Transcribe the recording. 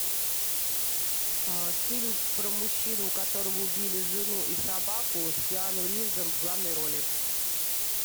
фильм про мужчину у которого убили жену и собаку с киану ривзом в главной роли